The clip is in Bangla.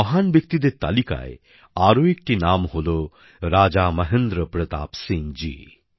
এই মহান ব্যক্তিদের তালিকায় আরও একটি নাম হলো রাজা মহেন্দ্র প্রতাপ সিং জী